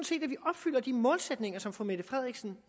set at vi opfylder de målsætninger som fru mette frederiksen